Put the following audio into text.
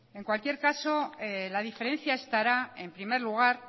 en cualquier caso la diferencia estará en primer lugar